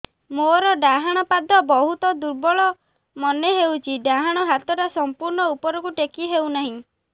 ମୋର ଡାହାଣ ପାଖ ବହୁତ ଦୁର୍ବଳ ମନେ ହେଉଛି ଡାହାଣ ହାତଟା ସମ୍ପୂର୍ଣ ଉପରକୁ ଟେକି ହେଉନାହିଁ